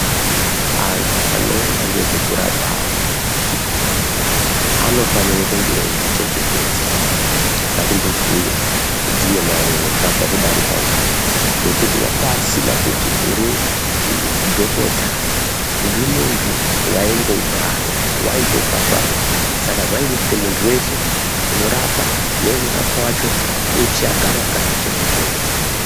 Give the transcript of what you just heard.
Antu anoona nezvekurapa antu ,anofanira kunge eyizvichengetedza, ngatimbobhuye ndiye marure wakabva kudarika uyu, wekuti wanga asina kuti uri dhokota, uri muntu, wayingouraya, wayitosvasvanga saka zvayide kuti muntu weshe unorapa neunorapwa wachona, eshe agare akazvichengetedza.